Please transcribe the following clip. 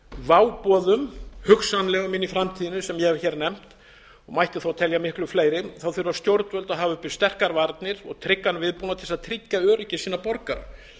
váboðum hugsanlegum inn í framtíðinni sem ég hef hér nefnt mætti þá telja miklu fleiri þurfa stjórnvöld að hafa uppi sterkar varnir og tryggan viðbúnað til að tryggja öryggi sinna borgara